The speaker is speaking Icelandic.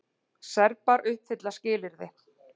Serbar uppfylla skilyrði